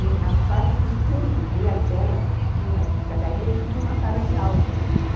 E na parte do fundo dela dela tinha umas escadarias e tinha uma sala de aula lá em cima.